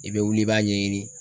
I bi wuli i b'a ɲɛɲini